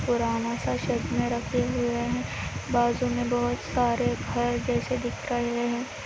एक पुराना सा रखे हुय हे बाजु में बहोत सारे दिख रहे हे --